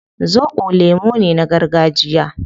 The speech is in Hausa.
Zobo lemu ne na gargajiya